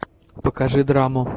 покажи драму